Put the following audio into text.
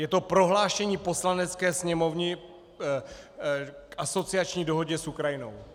Je to prohlášení Poslanecké sněmovny k asociační dohodě s Ukrajinou.